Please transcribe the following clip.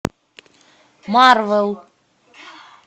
марвел